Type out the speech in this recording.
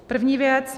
První věc.